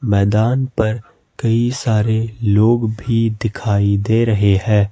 मैदान पर कई सारे लोग भी दिखाई दे रहे हैं।